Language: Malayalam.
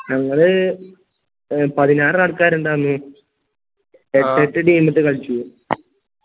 ഞങ്ങള് പതിനാറ് ആൾക്കാരുണ്ടാന്നു എട്ട് എട്ട് team ട്ടു കളിച്ചു